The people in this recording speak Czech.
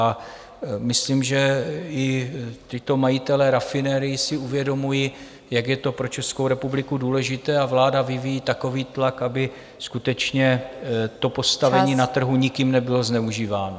A myslím, že i tito majitelé rafinerií si uvědomují, jak je to pro Českou republiku důležité, a vláda vyvíjí takový tlak, aby skutečně to postavení na trhu nikým nebylo zneužíváno.